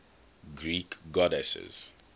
greek goddesses